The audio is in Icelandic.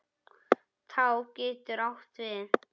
Tá getur átt við